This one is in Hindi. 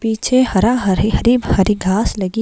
पीछे हरा हरे भरे घास लगे--